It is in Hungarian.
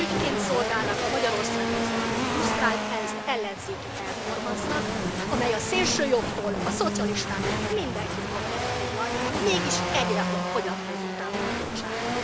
Ürügyként szolgálnak a Magyarországon zajló frusztrált ellenzéki performansznak, amely a szélsőjobbtól a szocialistákig mindenkit magában foglal, mégis egyre fogyatkozó támogatottságú.